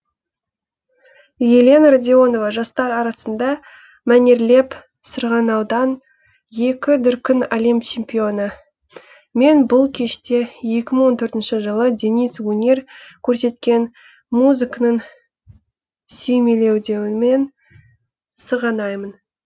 елена радионова жастар арасында мәнерлеп сырғанаудан екі дүркін әлем чемпионы мен бұл кеште екі мың он төртінші жылы денис өнер көрсеткен музыканың сүйемеледеуімен сырғанаймын